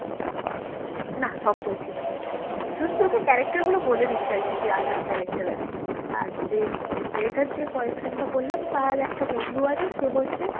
হ্যাঁ দিয়ে হচ্ছে তোর না সব বলছিস না তো না সব বলছি না হ্যাঁ বল, আমি শুধু তোকে character গুলো বলে দিচ্ছি আর কি যা যা character আছে আর যে মেয়েটার যে boyfriend টা বললাম তার একটা বন্ধু আছে সে হচ্ছে